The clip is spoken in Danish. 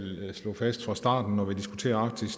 slå fast fra starten når vi diskuterer arktis